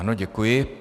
Ano, děkuji.